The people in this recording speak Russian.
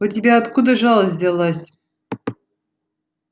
у тебя-то откуда жалость взялась